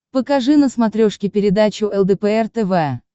покажи на смотрешке передачу лдпр тв